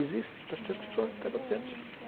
Existe, está está acontecendo.